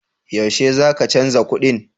Yaushe za ka canza kuɗin?